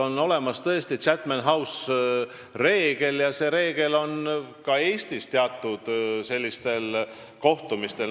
On tõesti olemas Chatham House'i reegel, mis kehtib ka Eestis teatud kohtumistel.